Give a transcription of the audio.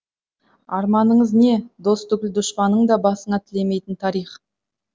арманыңыз не дос түгіл дұшпаныңның басына тілемейтін тарих